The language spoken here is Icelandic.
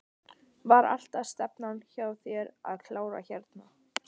Var alltaf stefnan hjá þér að klára hérna?